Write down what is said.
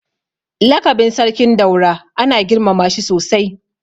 Lakabin Sarkin Daura ana girmama shi sosai.